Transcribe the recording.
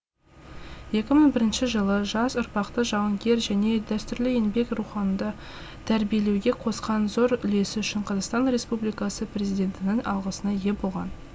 екі мың бірінші жылы жас ұрпақты жауынгер және дәстүрлі еңбек рухында тәрбиелеуге қосқан зор үлесі үшін қазақстан республикасы президентінің алғысына ие болған